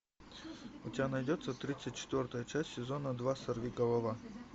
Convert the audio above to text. у тебя найдется тридцать четвертая часть сезона два сорвиголова